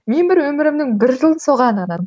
мен бір өмірімнің бір жылын соған арнадым